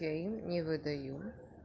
я им не выдаю